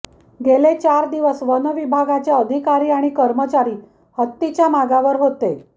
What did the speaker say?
गेले चार दिवस वनविभागाचे अधिकारी आणि कर्मचारी हत्तीच्या मागावर होते